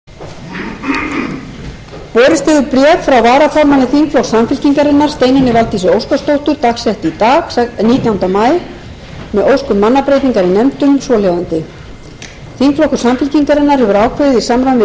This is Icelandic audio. borist hefur bréf frá varaformanni þingflokks samfylkingarinnar steinunni valdísi óskarsdóttur dagsettu í dag nítjánda maí með ósk um mannabreytingar í nefndum svo hljóðandi þingflokkur samfylkingarinnar hefur ákveðið í samræmi við